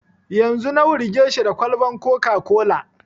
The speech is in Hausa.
Yanzu na wurge shi da kwalban coca-cola